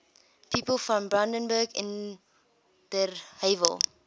people from brandenburg an der havel